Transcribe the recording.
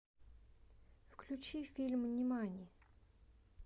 включи фильм нимани